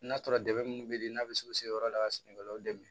N'a sɔrɔ dɛmɛ munnu bɛ n'a bɛ se u se yɔrɔ la ka sɛnɛkɛlaw dɛmɛ